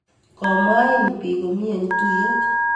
Komwain biik komie eng tuyet